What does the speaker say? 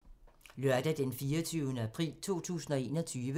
Lørdag d. 24. april 2021